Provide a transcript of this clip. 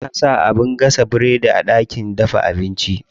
Ana saka abin gasa biredi a ɗakin dafa abinci.